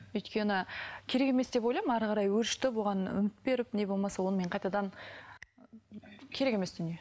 өйткені керек емес деп ойлаймын әрі қарай өршітіп оған үміт беріп не болмаса онымен қайтадан ы керек емес дүние